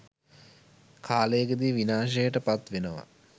කාලයකදී විනාශයට පත් වෙනවා.